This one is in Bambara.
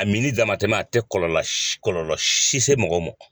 A minli damatɛma a tɛ kɔlɔlɔ si kɔlɔlɔ si se mɔgɔ mɔ.